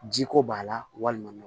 Jiko b'a la walima